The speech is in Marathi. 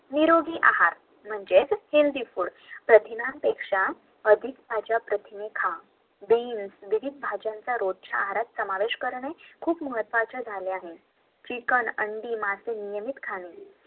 निरोगी आहार म्हणजेच हेल्दि फूड हिरव्या भाज्या रोजच्या आहारात समावेश करणे खूप महत्वाचे झालं आहे